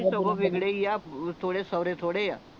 ਸਗੋਂ ਵਿਗੜੇ ਹੀ ਆ ਥੋੜੇ ਸਵਰੇ ਥੋੜੇ ਆ